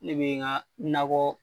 Ne bɛ n ka nakɔ